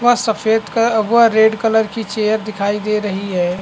यह सफ़ेद व रेड कलर की चेयर दिखाई दे रही हैं ।